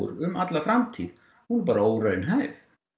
um alla framtíð hún er bara óraunhæf